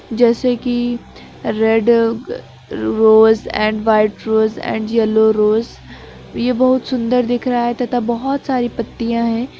जैसे कि red a rose and white rose and yellow rose ये बहोत सुन्दर दिख रहा हैं तथा बहोत सारी पत्तियां हैं।